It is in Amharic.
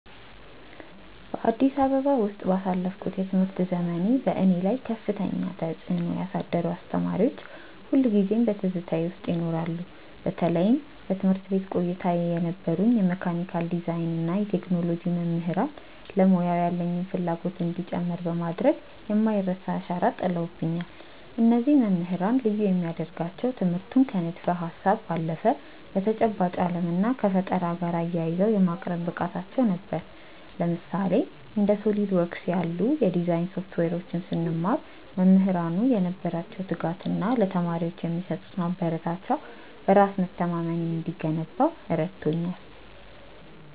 በአዲስ አበባ ውስጥ ባሳለፍኩት የትምህርት ዘመኔ፣ በእኔ ላይ ከፍተኛ ተጽዕኖ ያሳደሩ አስተማሪዎች ሁልጊዜም በትዝታዬ ውስጥ ይኖራሉ። በተለይም በትምህርት ቤት ቆይታዬ የነበሩኝ የመካኒካል ዲዛይን እና የቴክኖሎጂ መምህራን ለሙያው ያለኝን ፍላጎት እንዲጨምር በማድረግ የማይረሳ አሻራ ጥለውብኛል። እነዚህ መምህራን ልዩ የሚያደርጋቸው ትምህርቱን ከንድፈ-ሀሳብ ባለፈ ከተጨባጭ ዓለም እና ከፈጠራ ጋር አያይዘው የማቅረብ ብቃታቸው ነበር። ለምሳሌ፣ እንደ SOLIDWORKS ያሉ የዲዛይን ሶፍትዌሮችን ስንማር፣ መምህራኑ የነበራቸው ትጋት እና ለተማሪዎች የሚሰጡት ማበረታቻ በራስ መተማመኔ እንዲገነባ ረድቶኛል።